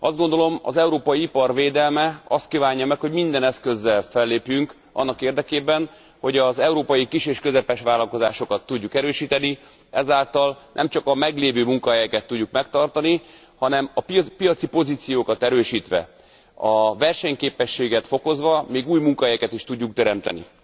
Azt gondolom, az európai ipar védelme azt kívánja meg, hogy minden eszközzel fellépjünk annak érdekében, hogy az európai kis és közepes vállalkozásokat tudjuk erősíteni, ezáltal nemcsak a meglévő munkahelyeket tudjuk megtartani, hanem a piaci pozíciókat erősítve, a versenyképességet fokozva még új munkahelyeket is tudjunk teremteni.